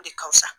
O de ka fusa